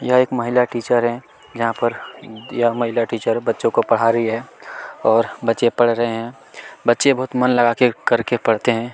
यह एक महिला टीचर है यहाँ पर यह महिला टीचर बच्चो को पड़ा रही है और बच्चे पड़ रहे है मन लगा के करके पड़ते है।